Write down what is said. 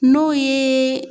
N'o yee